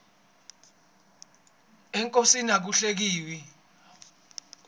enkosini aku hlekiwi